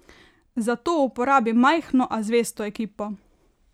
Za to uporabi majhno, a zvesto ekipo.